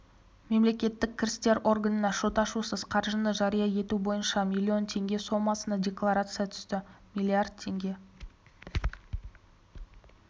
мемлекеттік кірістер органына шот ашусыз қаржыны жария ету бойынша миллион теңге сомасына декларация түсті миллиард теңге